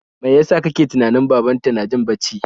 Mai yasa ka ke tunanin babanta na jin bacci?